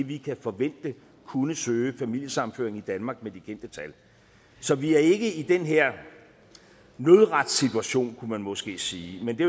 vi kan forvente kunne søge familiesammenføring i danmark med de kendte tal så vi er ikke i den her nødretssituation kunne man måske sige men det